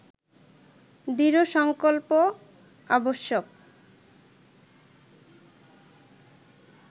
দৃঢ় সংকল্প আবশ্যক